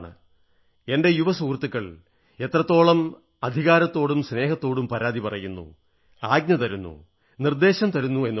എന്റെ യുവ സുഹൃത്തുക്കൾ എത്രത്തോളം അധികാരത്തോടും സ്നേഹത്തോടും പരാതി പറയുന്നു ആജ്ഞ തരുന്നു നിർദ്ദേശം തരുന്നു എന്നുള്ളതാണ്